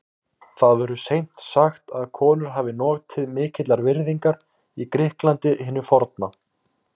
Það verður seint sagt að konur hafi notið mikillar virðingar í Grikklandi hinu forna.